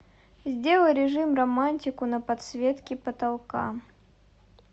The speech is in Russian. сделай режим романтику на подсветке потолка